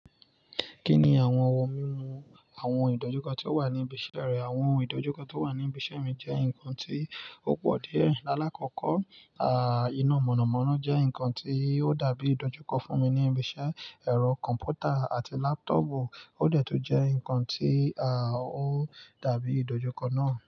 Kí ni àwọn ohun àwọn ìdojúkọ tó wà ní ibi iṣẹ́ rẹ? Àwọn ìdojúkọ tó wà ní ibi iṣẹ́ mi jẹ́ nǹkan tí ó pọ̀ díẹ̀. Aláàkọ́kọ́, aah, iná mọ̀nàmọ́ná jẹ́ nǹkan tí ó dàbí ìdojúkọ fún mi ní ibi iṣẹ́. Ẹ̀rọ kọ̀m̀pútà àti láptọ̀pù ó dẹ̀ tún jẹ́ nǹkan tí aah ó dàbí ìdojúkọ náà.